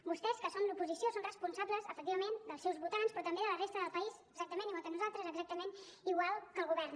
vostès que són l’oposició són responsables efectivament dels seus votants però també de la resta del país exactament igual que nosaltres exactament igual que el govern